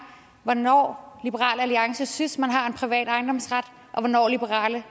hvornår liberal alliance synes man har en privat ejendomsret og hvornår liberal